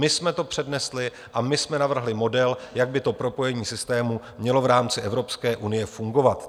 My jsme to přednesli a my jsme navrhli model, jak by to propojení systému mělo v rámci Evropské unie fungovat.